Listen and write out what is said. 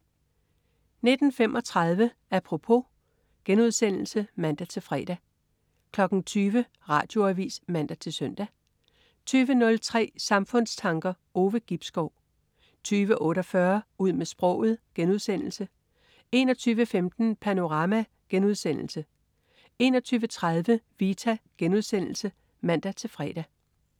19.35 Apropos* (man-fre) 20.00 Radioavis (man-søn) 20.03 Samfundstanker. Ove Gibskov 20.48 Ud med sproget* 21.15 Panorama* 21.30 Vita* (man-fre)